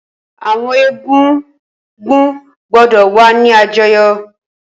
Awọn egúngún gbọdọ wa ni àjọyọ!